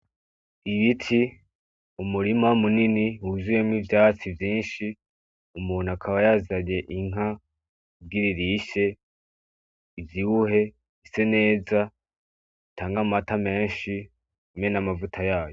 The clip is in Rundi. Ibiti, umurima munini wuzuyemwo ivyatsi vyinshi , umuntu akaba yazanye inka kugira irishe ivyibuhe , ise neza , itanga amata menshi hamwe n’amavuta yayo.